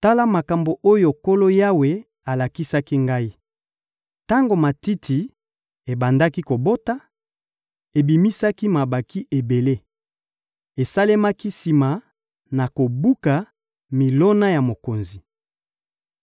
Tala makambo oyo Nkolo Yawe alakisaki ngai: Tango matiti ebandaki kobota, ebimisaki mabanki ebele. Esalemaki sima na kobuka milona ya mokonzi.